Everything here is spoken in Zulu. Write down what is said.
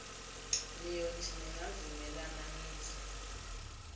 niyothi ningavumelana nize